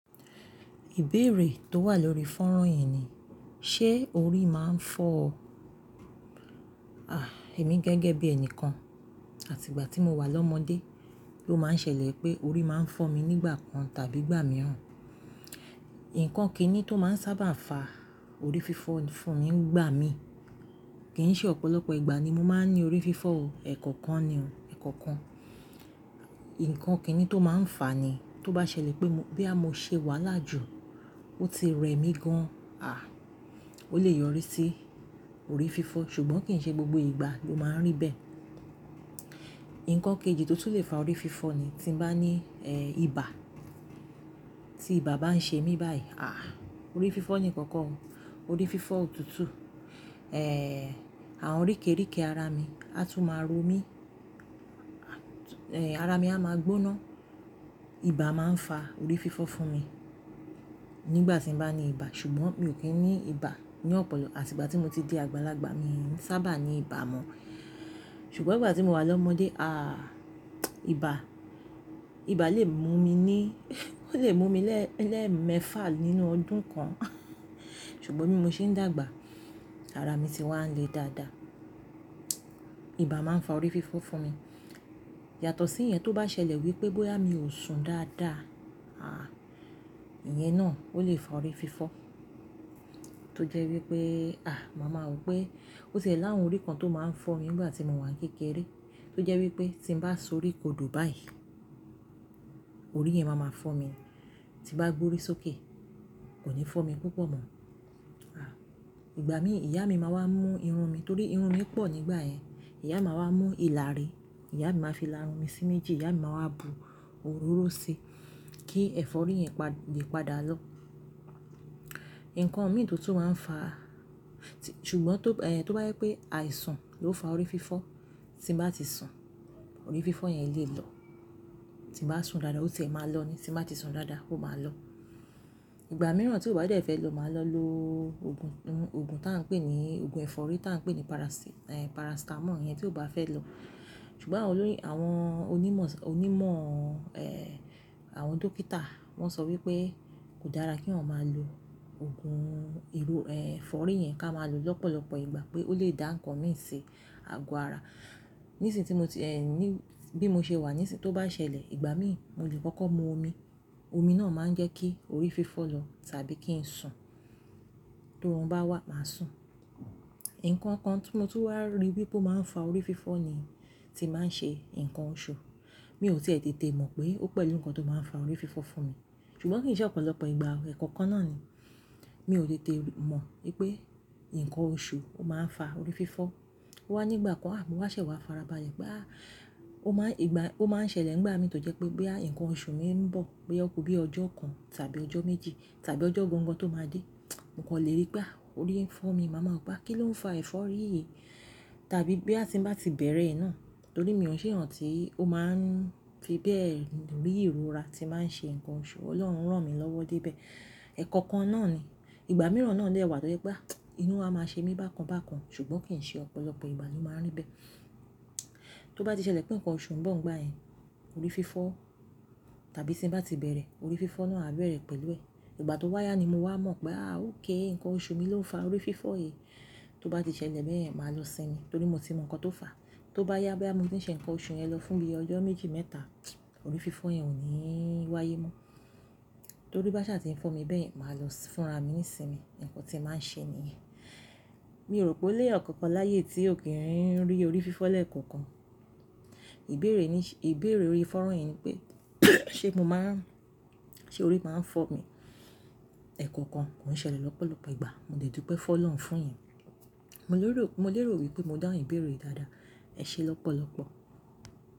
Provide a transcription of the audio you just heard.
Ìbéèrè tó wà lórí fónrán yìí ni, ṣe orí máa ń fọ ọ? Àh! Èmi gẹ́gẹ́ bí ẹni kan, àti ìgbà tí mo wà lọ́mọdé ló máa ń ṣẹlẹ̀ pé orí máa ń fọ́ mi nígbà kan tàbí ìgbà mìíràn. Ǹkan kíni tó máa ń sábà fa orí fífọ́ fún mi ń gbà mí, kì ń ṣe ọ̀pọ̀lọpọ̀ ìgbà ni mo máa ń ní orí fífọ́ o, ẹ̀ẹ̀kọ̀kan ni o, ẹ̀ẹ̀kọ̀kan. Ǹkan kíni tó máa ń fà á ni, tó bá ṣẹlẹ̀ pé mo, bo ya mo ṣe wàhala jú, ó ti rẹ mí gan, àh! Ó lè yọrí sí orí fífọ́, ṣùgbọ́n kì ń ṣe gbogbo ìgbà ló máa ń rí bẹ́ẹ̀. Ǹkan kejì tó tún lè fa orí fífọ́ ni tí mo bá ní, ẹ́, ibà. Tí ibà bá ń ṣe mí báyìí, àh! Orí fífọ́ ni kan ko o, orí fífọ́ òtútù. Ẹ, àwọn rìkèrèké ara mi á tún máa ro mí, ara mi a máa gbóná. Ibà máa ń fa orí fífọ́ fún mi nígbà tí mo bá ní ibà, ṣùgbọ́n mi ò kí ń ní ibà ní ọ̀pọ̀lọpọ̀, àti ìgbà tí mo ti di àgbàlagbà, mi ò sábà ní ibà mọ́. Ṣùgbọ́n ìgbà tí mo wà lọ́mọdé, àh! Ibà, ibà lè mú mi ní, ó lè mú mi lẹ́, lẹ́ẹ̀mẹfà nínú ọdún kan ṣùgbọ́n bí mo ṣe ń dàgbà, ara mi ti wá ń le dáadáa. Ibà máa ń fa orí fífọ́ fún mi. Yàtọ̀ sí ìyẹn, tó bá ṣẹlẹ̀ wípé bóyá mi ò sùn dáadáa, àh! Ìyẹn náà ó lè fa orí fífọ́. Tó jẹ́ wípé, àh! Màá ma wo wipé ó ti e láwon orí kan tó máa ń fọ́ mi nígbà tí mo wà n kékeré, tó jẹ́ wípé tí ń bá sori kodò báyìí, orí yẹn máa ma fọ́ mi. Tí n bá gbórí sókè, kò ní fọ́ mi púpọ̀ mọ́. Àh! Ìgbà mi ìyá mi máa wá mú irun mi torí irun mi pọ̀ nígbà yẹn. Ìyá mi ma wá mú ìlà ri, ìyá mi máa fi la irun mi sí méjì, ìyá mi máa wá bu òróró sí kí ẹ̀fọ́rí yẹn le padà lọ. Ǹkan mi tó tún máa ń fà á, ṣùgbọ́n tó, ẹ́, tó bá jẹ́ pé àìsàn ló fa orí fífọ́, tí ń bá ti sùn, orí fífọ́ yẹn lè lọ. Tí ń bá sùn dáadáa ó tiẹ̀ máa lọ ni, tí ń bá ti sùn dáadáa ó máa lọ. Ìgbà mìíràn tí ó bá dẹ́ fẹ́ lọ máa lọ lo òògùn, òògùn tá ń pè ní òògùn ẹ̀fọ́rí tá ń pè ní parasí, ẹ́, paracetamol yẹn tí ó bá fẹ́ lọ. Ṣùgbọ́n àwọn olóyìn, àwọn onímọ̀, onímọ̀, ẹ́, àwọn dókítà wọ́n sọ wípé kò dára kí eyan máa lo òògùn iru, ẹ́, ẹ̀fọ́rí yẹn ká máa lo lọ́pọ̀lọpọ̀ ìgbà pé ó lè dá ǹkan mì ṣi àgọ́ ara. Nísìń tí mo ti, ẹ́, ní, bí mo ṣe wà, nísìń tó bá ṣẹlẹ̀, ìgbà mìí mo lè kọ́kọ́ mu omi. Omi náà máa ń jẹ́ kí orí fífọ́ lọ tàbí kí ń sùn, to órùn bá wà máa sùn. Ǹkan kan tí mo tún wá rí wípé ó máa ń fa orí fífọ́ ni tí báa ń ṣe nǹkan oṣù. Mi ò ti e tètè mọ̀ pé ó pẹ̀lú ǹkan tó máa ń fa orí fífọ́ fún mi, ṣùgbọ́n kì ń ṣe ọ̀pọ̀lọpọ̀ ìgbà o, ẹ̀ẹ̀kọ̀kan náà ni. Mi ò tètè mọ̀ wípé ǹkan oṣù ó máa ń fa orí fífọ́. Ó wá nígbà kan, àh! Mo wá ṣẹ̀ wá farabalẹ̀ pé, àh! Ó máa ń ìgbà, ó máa ń ṣẹlẹ̀ nígbà mi tó jẹ́ pé bo yà ǹkan oṣù mi ń bọ̀, bóyá ó kú bí ọjọ́ kan tàbí ọjọ́ méjì tàbí ọjọ́ gangàn tó máa dé, mo kan léèri pé àh! Orí ń fọ́ mi. Màá ma wo pé a kí ló ń fa ẹ̀fọ́rí yìí? Tàbí bo ya ti ń bá ti bẹ̀rẹ̀ e ná. Torí mi ò ṣe eyan ti, ó máa ń fi bẹ́ẹ̀ rí ìrora tí ba ń ṣe ǹkan oṣù. Ọlọ́run rán mi lọ́wọ́ dé bẹ̀. Ẹ̀ẹ̀kọ̀kan náà ni. Ìgbà mìíràn náà dè wá tó jẹ́ pé àh! Inú a máa ṣe mí bákan bákan, ṣùgbọ́n kì ń ṣe ọ̀pọ̀lọpọ̀ ìgbà ló máa ń rí bẹ́ẹ̀. Tó bá ti ṣẹlẹ̀ pé ǹkan oṣù ń bọ̀ nígbà yẹn, orí fífọ́ tàbí tí ń bá ti bẹ̀rẹ̀, orí fífọ́ náà á bẹ̀rẹ̀ pẹ̀lú ẹ. Ìgbà tó wáyá ni mo wá mọ̀ pé àh! Ókay ǹkan oṣù mi ló ń fa orí fífọ́ yìí. Tó bá ti ṣẹlẹ̀ bẹ́yen, màá lọ sinmi torí mo ti mọ ǹkan tó fà á. Tó bá yá bóyá mo fe ṣe ǹkan oṣù yẹn lọ fún bi ọjọ́ méjì mẹ́ta, orí fífọ́ yẹn ò ní wáyé mọ́. Torí bá ṣà ti ń fọ́ mi bẹ́yen, màá lọ fúnra mi ń sinmi, ǹkan tí ń máa ń ṣe ni yen Mi ò rò pé ó léyan kankan láyéyi tí ò kí ń rí orí fífọ́ lẹ́ẹ̀kọ̀kan. Ìbéèrè ní, ìbéèrè orí fónrán yìí ni pé ṣe mo máa ń, ṣe orí máa ń fọ́ mi? Ẹ̀ẹ̀kọ̀kan kò un ń ṣẹlẹ̀ lọ́pọ̀lọpọ̀ ìgbà, mo dè dúpẹ́ fún Ọlọ́run fún ìyẹn. Mo lè rò, mo lè rò wípé mo dáun ìbéèrè yi dáadáa. Ẹ ṣé lọ́pọ̀lọpọ̀.